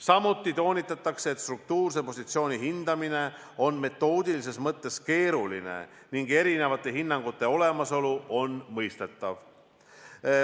Samuti toonitatakse, et struktuurse positsiooni hindamine on metoodilises mõttes keeruline ning eri hinnangute olemasolu on mõistetav.